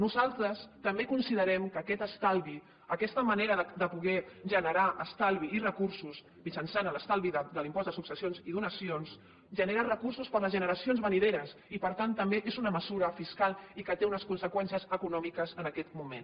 nosaltres també considerem que aquest estalvi aquesta manera de poder generar estalvi i recursos mitjançant l’estalvi de l’impost de successions i donacions genera recursos per a les generacions venidores i per tant també és una mesura fiscal i que té unes conseqüències econòmiques en aquest moment